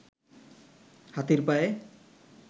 হাতির পায়ে